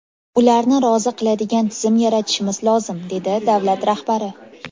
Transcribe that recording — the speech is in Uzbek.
Ularni rozi qiladigan tizim yaratishimiz lozim”, dedi davlat rahbari.